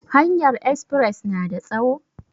Hanyar espres na da tsawo?